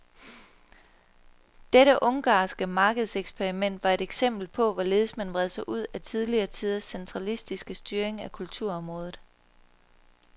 Dette ungarske markedseksperiment var et eksempel på, hvorledes man vred sig ud af tidligere tiders centralistiske styring af kulturområdet.